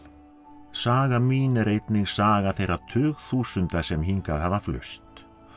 saga mín er einnig saga þeirra tugþúsunda sem hingað hafa flust